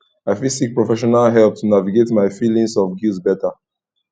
i fit seek professional help to navigate my feelings of guilt better